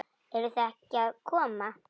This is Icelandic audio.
Eruð þið ekki að koma?